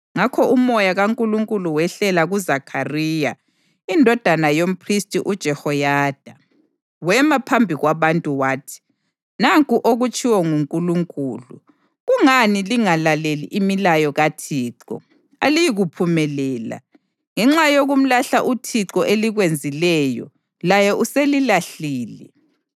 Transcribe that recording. Ngakho uMoya kaNkulunkulu wehlela kuZakhariya indodana yomphristi uJehoyada. Wema phambi kwabantu wathi, “Nanku okutshiwo nguNkulunkulu: ‘Kungani lingalaleli imilayo kaThixo? Aliyikuphumelela. Ngenxa yokumlahla uThixo elikwenzileyo, laye uselilahlile.’ ”